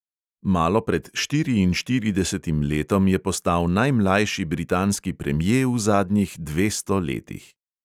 Malo pred štiriinštiridesetim letom je postal najmlajši britanski premje v zadnjih dvesto letih.